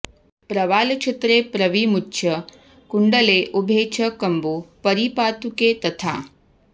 प्रवालचित्रे प्रविमुच्य कुण्डले उभे च कम्बू परिपातुके तथा